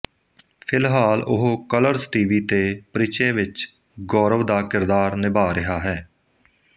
ਫਿਲਹਾਲ ਉਹ colors TV ਤੇ ਪਰਿਚੈ ਵਿਚ ਗੌਰਵ ਦਾ ਕਿਰਦਾਰ ਨਿਭਾਅ ਰਿਹਾ ਹੈ